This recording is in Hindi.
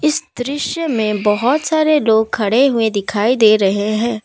इस दृश्य में बहुत सारे लोग खड़े हुए दिखाई दे रहे हैं।